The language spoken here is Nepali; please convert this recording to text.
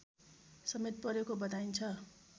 समेत परेको बताइन्छ